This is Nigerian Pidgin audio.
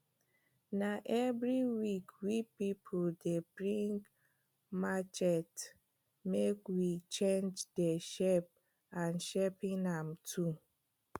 na every week wey pipul dey bring machete make we change de shape and sharpen am too